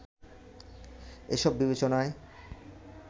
এসব বিবেচনায়